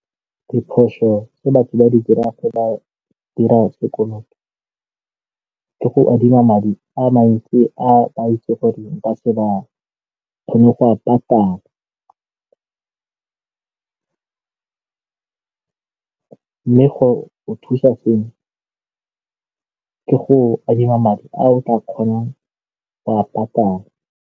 Diphoso tse batho ba di dirang fa ba dira sekoloto ke go adima madi a mantsi a itse gore nka se ba kgone go a patala ka go thusa seno ka go adima madi a o tla kgonang go a patala.